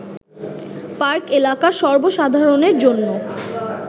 park এলাকা সর্ব সাধারণের জন্য